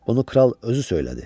Bunu kral özü söylədi.